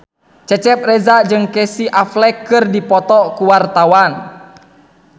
Cecep Reza jeung Casey Affleck keur dipoto ku wartawan